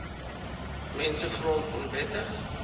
mense grond onwettig